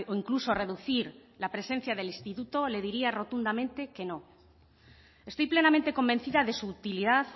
incluso reducir la presencia del instituto le diría rotundamente que no estoy plenamente convencida de su utilidad